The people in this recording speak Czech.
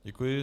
Děkuji.